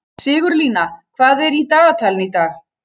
Sigurlína, hvað er í dagatalinu í dag?